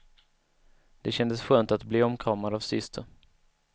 Det kändes skönt att bi omkramad av syster.